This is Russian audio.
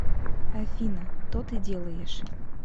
афина то ты делаешь